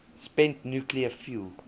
spent nuclear fuel